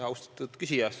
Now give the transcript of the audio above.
Austatud küsija!